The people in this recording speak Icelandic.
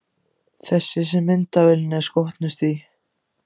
Þessi sem myndavélin er skotnust í.